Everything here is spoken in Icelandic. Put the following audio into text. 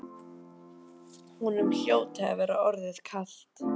Honum hljóti að vera orðið kalt.